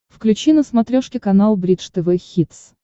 включи на смотрешке канал бридж тв хитс